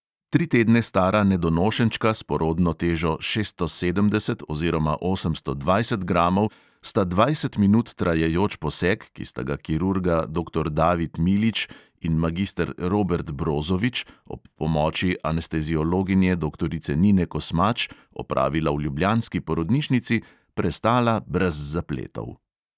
Tri tedne stara nedonošenčka s porodno težo šeststo sedemdeset oziroma osemsto dvajset gramov sta dvajset minut trajajoč poseg, ki sta ga kirurga doktor david milič in magister robert brozovič ob pomoči anesteziologinje doktorice nine kosmač opravila v ljubljanski porodnišnici, prestala brez zapletov.